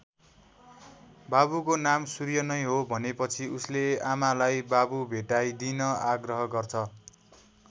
बाबुको नाम सूर्य नै हो भनेपछि उसले आमालाई बाबु भेटाइदिन आग्रह गर्छ।